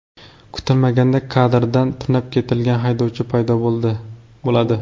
Kutilmaganda kadrda tunab ketilgan haydovchi paydo bo‘ladi.